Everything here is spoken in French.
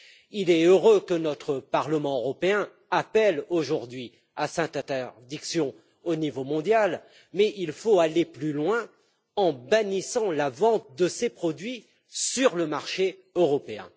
Il est heureux que notre Parlement européen appelle aujourd'hui à cette interdiction au niveau mondial, mais il faut aller plus loin en bannissant la vente de ces produits sur le marché européen.